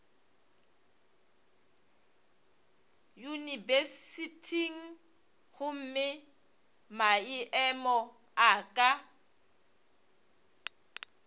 yunibesithing gomme maemo a ka